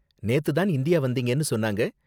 நேத்து தான் இந்தியா வந்தீங்கன்னு சொன்னாங்க.